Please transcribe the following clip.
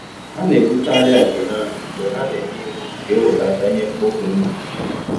Ha na-ebute arịa nke ha mgbe ha na-enye iwu ka ewelata ihe mkpofu ngwugwu.